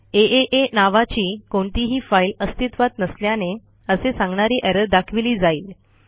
आ नावाची कोणतीही फाईल अस्तित्वात नसल्याने असे सांगणारी एरर दाखविली जाइल